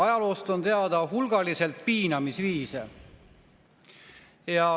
Ajaloost on teada hulgaliselt piinamisviise.